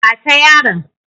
Ba ta yaron!